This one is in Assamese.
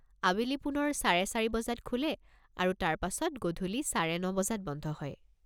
আবেলি পুনৰ চাৰে চাৰি বজাত খোলে আৰু তাৰ পাছত গধূলি চাৰে ন বজাত বন্ধ হয়।